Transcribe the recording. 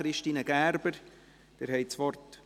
– Christine Gerber, Sie haben das Wort.